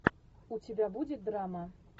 у тебя будет драма